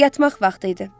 Yatmaq vaxtı idi.